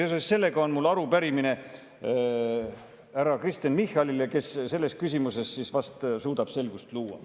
Seoses sellega on mul arupärimine härra Kristen Michalile, kes selles küsimuses vast suudab selgust luua.